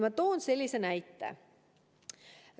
Ma toon sellise näite.